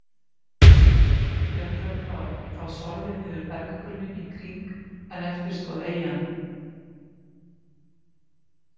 Jöklarnir hafa þá sorfið niður berggrunninn í kring en eftir stóð eyjan.